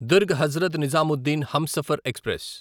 Durg Hazrat Nizamuddin Humsafar express